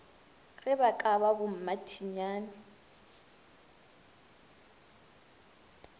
ge ba ka ba bommathinyane